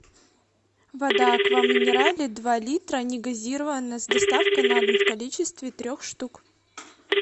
вода аква минерале два литра негазированная с доставкой на дом в количестве трех штук